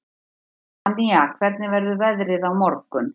Danía, hvernig verður veðrið á morgun?